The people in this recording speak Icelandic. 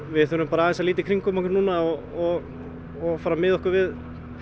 við þurfum að líta í kringum okkur og og miða okkur við